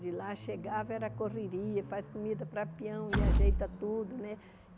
De lá, chegava, era correria, faz comida para peão e ajeita tudo, né?